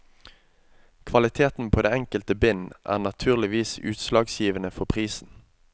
Kvaliteten på det enkelte bind er naturligvis utslagsgivende for prisen.